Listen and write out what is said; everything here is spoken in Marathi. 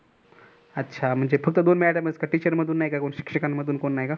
अच्छा म्हणजे फक्त दोन madam च का teachers मधून नाही का कोण शिक्षकांमधून नाही का कोण?